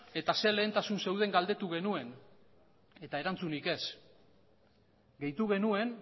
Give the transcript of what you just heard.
eta zein lehentasun zeuden galdetu genuen eta erantzunik ez gehitu genuen